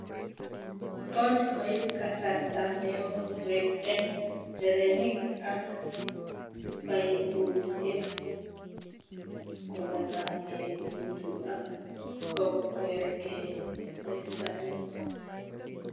Kot koip kasarta neo beek eng terenik ak paipusiek kolalangegitu ak kokwerge ne samis.